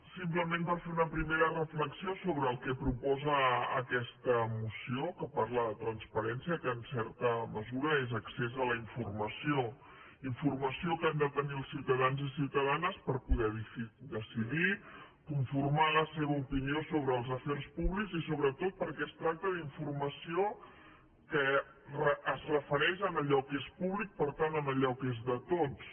simplement per fer una primera reflexió sobre el que proposa aquesta moció que parla de transparència que en certa mesura és accés a la informació informació que han de tenir els ciutadans i ciutadanes per poder decidir conformar la seva opinió sobre els afers públics i sobretot perquè es tracta d’informació que es refereix a allò que és públic per tant a allò que és de tots